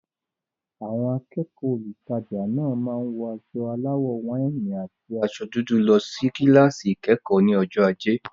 Àwọn akẹ́kọ̀ọ́ olùtajà náà máa wọ aṣọ aláwọ̀ wáìnì àti aṣọ dúdú lọ sí kíláàsì ìkẹ́kọ̀ọ́ ní ọjọ́ ajé.